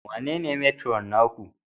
Wanene Matron naku?